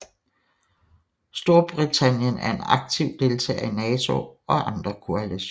Storbritannien er en aktiv deltager i NATO og andre koalitioner